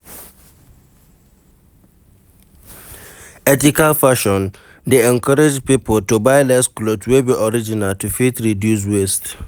Ethical fashion dey encourage pipo to buy less cloth wey be original to fit reduce waste